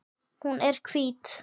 Hún er hvít.